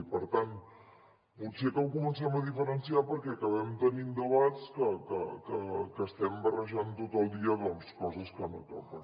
i per tant potser que ho comencem a diferenciar perquè acabem tenint debats on estem barrejant tot el dia doncs coses que no toquen